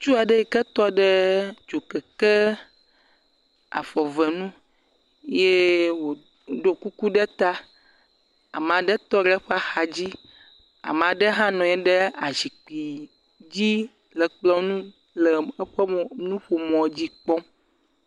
Ŋutsu aɖe yi ke tɔ ɖe dzokeke afɔ ve nu yee wòɖo kuku ɖe ta. Ama ɖe tɔ le eƒe axadzi. Ama ɖe hã nɔ anyi ɖe azikpii dzi le kplɔ̃ ŋu le eƒe mɔƒo nuƒomɔdzi kpɔm.